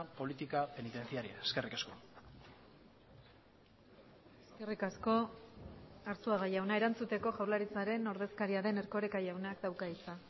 política penitenciaria eskerrik asko eskerrik asko arzuaga jauna erantzuteko jaurlaritzaren ordezkaria den erkoreka jaunak dauka hitza